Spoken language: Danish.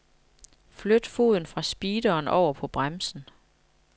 Flyt foden fra speederen over på bremsen.